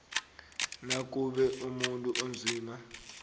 nakube umuntu onzima